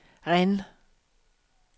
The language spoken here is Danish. Rennes